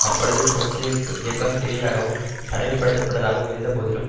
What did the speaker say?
அப்பொழுது ட்ரொட்ஸ்கிய இயக்கம் சிறிதாகவும் தனிமைப்படுத்தப்பட்டதாகவும் இருந்தபோதிலும்